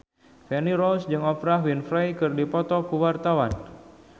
Feni Rose jeung Oprah Winfrey keur dipoto ku wartawan